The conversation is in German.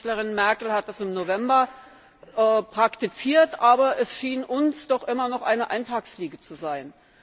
Bundeskanzlerin Merkel hat das im November praktiziert, aber es schien uns doch immer noch eine Eintagsfliege zu sein.